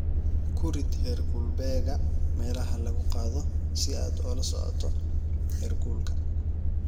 Ku rid heerkulbeegga meelaha lagu gado si aad ula socoto heerkulka.